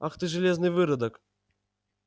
ах ты железный выродок